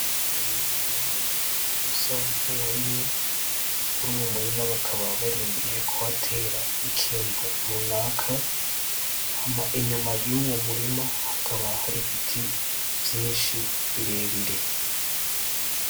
Umurima munini usa nkuwarimwe. Muri uwo murima bakaba barindiye kuhatera ikintu runaka, hama inyuma yuwo murima hakaba hari ibiti vyinshi birebire.